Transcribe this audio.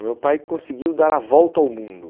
O meu pai conseguiu dar a volta ao mundo.